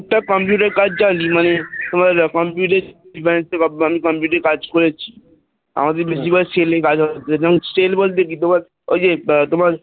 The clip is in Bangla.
টুকটাক Computer এর কাজ চাইছে মানে computer এর computer এ কাজ করেছি আমাদের বেশিরভাগ sell ভালো sell বলতে কি তোমার ওই যে তোমার